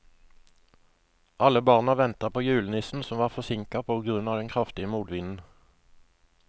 Alle barna ventet på julenissen, som var forsinket på grunn av den kraftige motvinden.